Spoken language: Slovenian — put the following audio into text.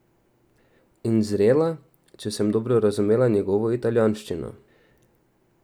In zrela, če sem dobro razumela njegovo italijanščino.